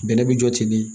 Bɛnɛ bi jɔ ten de